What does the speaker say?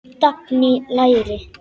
Dagný: Læri.